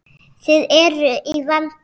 Þið eruð í vanda.